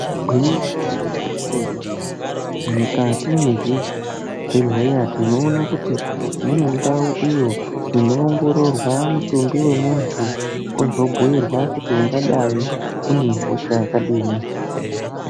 Igwinyiso remene kuti mukati mwezvibhehleya tinoona kuti munendau iyo inoongororwa mutumbi wemuntu ozobhuirwa kuti ungadai unehosha yakadini.